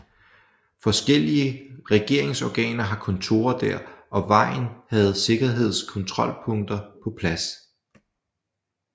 Forskellige regeringsorganer har kontorer der og vejen havde sikkerhedskontrolpunkter på plads